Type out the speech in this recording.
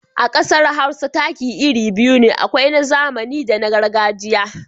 A ƙasar Hausa taki iri biyu ne, akwai na zamani da na gargajiya.